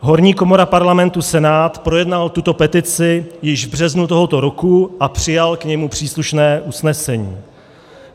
Horní komora Parlamentu Senát projednal tuto petici již v březnu tohoto roku a přijal k němu příslušné usnesení.